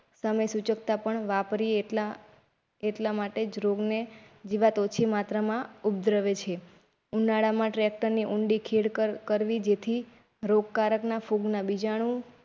સમય સુચકતા પણ વાપરી એટલા અટલામાટેજ રોગ ને જીવાત ઓછી માત્રામાં ઉપદ્રવે છે. ઉનાળા માં ટ્રેક્ટર ની ઉંડી ખેડ કરવી જેથી રોગકારક ના ફૂગના બીજાણુ.